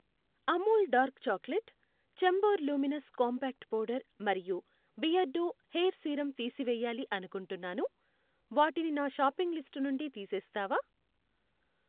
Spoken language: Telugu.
Amul dark chocolate, Chambor luminous compact powder మరియు బియర్డో హెయిర్ సీరమ్ తీసివేయాలి అనుకుంటున్నాను, వాటిని నా షాపింగ్ లిస్ట్ నుండి తీసేస్తావా?